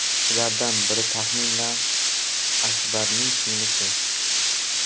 Ulardan biri Taxmina Akbarning singlisi.